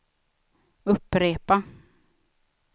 upprepa